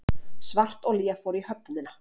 Svartolía fór í höfnina